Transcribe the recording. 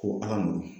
Ko ala n'u